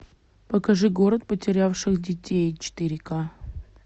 покажи город потерявших детей четыре ка